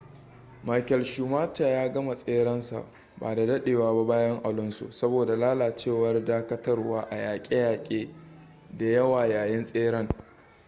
michael schumacher ya gama tserensa ba da daɗewa ba bayan alonso saboda lalacewar dakatarwa a yaƙe-yaƙe da yawa yayin tseren